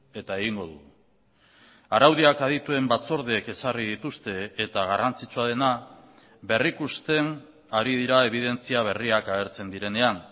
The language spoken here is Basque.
eta egingo dugu araudiak adituen batzordeek ezarri dituzte eta garrantzitsua dena berrikusten ari dira ebidentzia berriak agertzen direnean